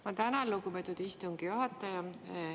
Ma tänan, lugupeetud istungi juhataja!